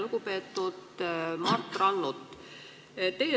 Lugupeetud Mart Rannut!